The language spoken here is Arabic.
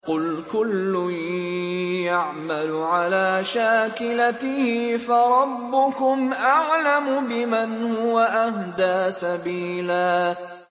قُلْ كُلٌّ يَعْمَلُ عَلَىٰ شَاكِلَتِهِ فَرَبُّكُمْ أَعْلَمُ بِمَنْ هُوَ أَهْدَىٰ سَبِيلًا